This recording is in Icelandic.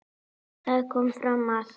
Þar kom fram að